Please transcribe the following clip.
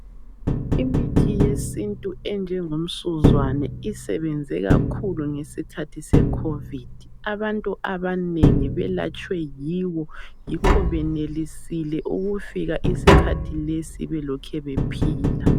Imithi yesintu enjengomsuzwane isebenze kakhulu ngesikhathi seCovid. Abantu abanengi belatshwe yiwo. Yikho benelisile ukufika isikhathi lesi belokhe bephila.